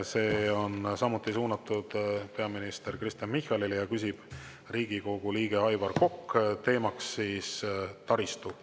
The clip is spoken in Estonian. See on samuti suunatud peaminister Kristen Michalile, küsib Riigikogu liige Aivar Kokk ja teema on taristu.